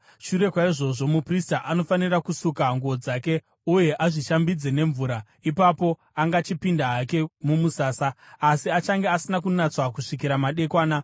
Shure kwaizvozvo, muprista anofanira kusuka nguo dzake uye azvishambidze nemvura. Ipapo angachipinda hake mumusasa, asi achange asina kunatswa kusvikira madekwana.